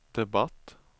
debatt